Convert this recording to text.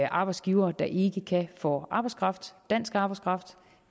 arbejdsgivere der ikke kan få arbejdskraft dansk arbejdskraft